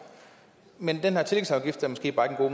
men den her tillægsafgift er måske bare